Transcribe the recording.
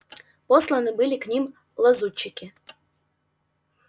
посланы были к ним лазутчики